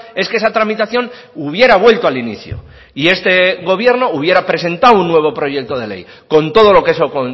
es que esa tramitación hubiera vuelto al inicio y este gobierno hubiera presentado un nuevo proyecto de ley con todo lo que eso